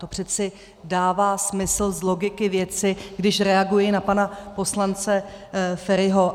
To přece dává smysl z logiky věci, když reaguji na pana poslance Feriho.